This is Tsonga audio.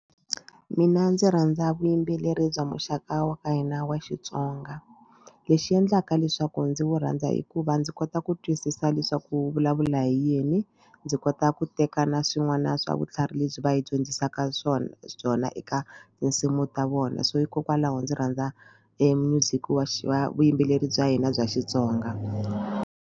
Mina ndzi rhandza vuyimbeleri bya muxaka wa ka hina wa Xitsonga lexi endlaka leswaku ndzi wu rhandza hikuva ndzi kota ku twisisa leswaku wu vulavula hi yini. Ndzi kota ku ku tekana swin'wana swa vutlhari lebyi va yi dyondzisaka swona byona eka tinsimu ta vona so hikokwalaho ndzi rhandza music wa vuyimbeleri bya hina bya Xitsonga.